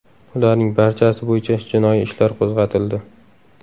Ularning barchasi bo‘yicha jinoiy ishlar qo‘zg‘atildi.